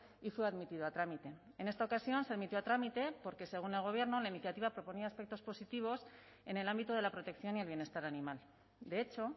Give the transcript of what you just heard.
y fue admitido a trámite en esta ocasión se admitió a trámite porque según el gobierno en la iniciativa proponía aspectos positivos en el ámbito de la protección y el bienestar animal de hecho